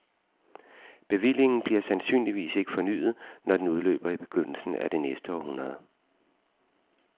Bevillingen bliver sandsynligvis ikke fornyet, når den udløber i begyndelsen af det næste århundrede.